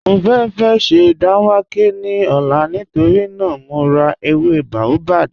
Mọ fẹ́ sẹ́ dánwàkẹ̀ ní ọ̀là nítorí naa mọ̀ rá èwé baobab